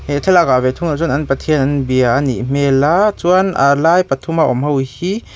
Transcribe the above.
he thlalak ah ve thung ah chuan an pathian an bia anih hmel a chuan alai pathuma awm ho hi--